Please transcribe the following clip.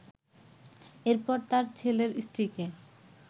এরপর তার ছেলের স্ত্রীকে